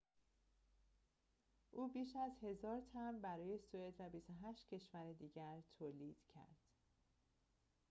او بیش از ۱,۰۰۰ تمبر برای سوئد و ۲۸ کشور دیگر تولید کرد